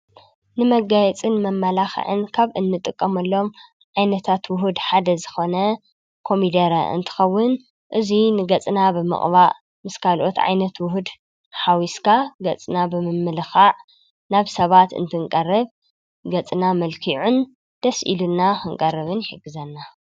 ንመጋይጽን መመላኽዕን ካብ እንጥቀምኣሎም ዓይነታት ውሁድ ሓደ ዝኾነ ኮሚደረ እንትኸውን እዙይ ንገጽና ብምቕባእ ምስ ካልኦት ዓይነት ውሁድ ሓዊስካ ገጽና ብምምልኻዕ ናብ ሰባት እንትንቀርብ ገጽና መልኪዑን ደስኢሉና ኽንቀርብን ሕግዘና